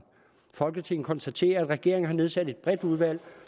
folketinget konstaterer at regeringen har nedsat et bredt udvalg